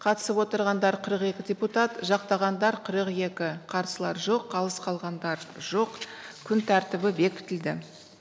қатысып отырғандар қырық екі депутат жақтағандар қырық екі қарсылар жоқ қалыс қалғандар жоқ күн тәртібі бекітілді